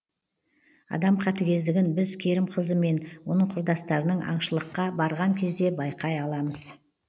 адам қатігездігін біз керімқазы мен оның құрдастарының аншылыққа барған кезде байқай аламыз